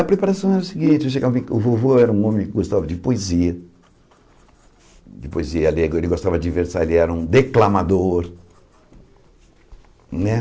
A preparação era o seguinte, eu chegava o vovô era um homem que gostava de poesia, de poesia alegre, ele gostava de versar, ele era um declamador, né?